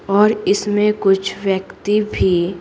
और इसमें कुछ व्यक्ति भी--